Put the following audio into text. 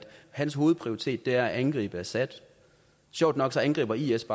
hans hovedprioritet er at angribe assad sjovt nok angriber is